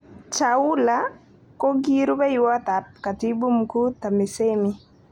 Chaula kokirubewot ab Katbu Mkuu TAMISEMI